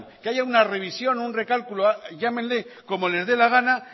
que haya una revisión o un recálculo llámenle como les dé la gana